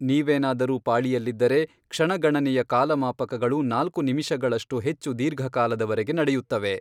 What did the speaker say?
ನೀವೇನಾದರೂ ಪಾಳಿಯಲ್ಲಿದ್ದರೆ, ಕ್ಷಣಗಣನೆಯ ಕಾಲಮಾಪಕಗಳು ನಾಲ್ಕು ನಿಮಿಷಗಳಷ್ಟು ಹೆಚ್ಚು ದೀರ್ಘಕಾಲದವರೆಗೆ ನಡೆಯುತ್ತವೆ.